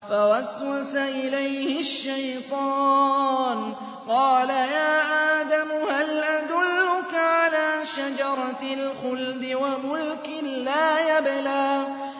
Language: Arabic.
فَوَسْوَسَ إِلَيْهِ الشَّيْطَانُ قَالَ يَا آدَمُ هَلْ أَدُلُّكَ عَلَىٰ شَجَرَةِ الْخُلْدِ وَمُلْكٍ لَّا يَبْلَىٰ